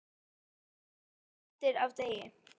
Brátt birtir af degi.